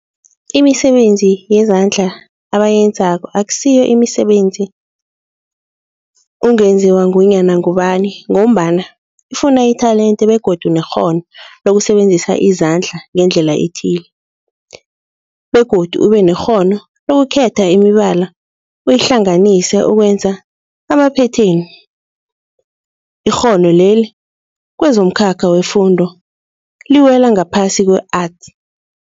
Imisebenzi yezandla abayenzako akusiyo imisebenzi ungenziwa ngunyana ngubani mgombana ifuna itelente begodu nekghono lokusebenzisa izandla ngendlela ethile, begodu ubenekghono lokukhetha imibala uyihlanganise ukwenza amaphetheni. Ikghono leli kwezomkhakha wefundo liwela ngaphasi kwe-Arts.